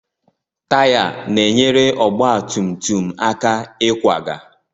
Taya na-enyere ọgba tum tum aka ịkwaga.